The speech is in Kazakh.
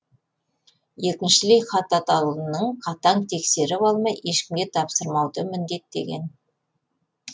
екіншілей хат атаулыны қатаң тексеріп алмай ешкімге тапсырмауды міндеттеген